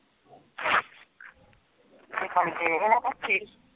ਅ